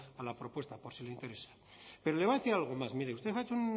a la propuesta por si le interesa pero le voy a decir algo más mire usted ha hecho